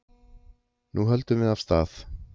Nú höldum við af stað